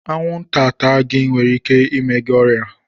Anwụnta taa gi nwere ike ime gị ọrịa